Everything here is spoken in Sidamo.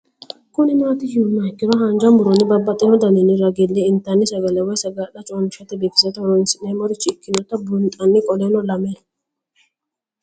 Kuni mati yinumoha ikiro hanja muroni babaxino daninina ragini intani sagale woyi sagali comishatenna bifisate horonsine'morich ikinota bunxana qoleno lame